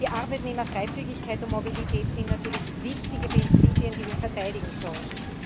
Die Arbeitnehmerfreizügigkeit und die Mobilität sind natürlich wichtige Prinzipien, die wir verteidigen sollen.